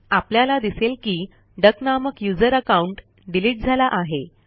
आपल्याला दिसेल की डक नामक यूझर अकाऊंट डिलीट झाला आहे